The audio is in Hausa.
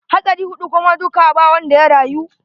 Hatsari huɗu kuma duka ba wanda ya rayu.